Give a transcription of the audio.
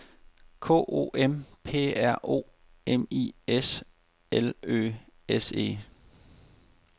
K O M P R O M I S L Ø S E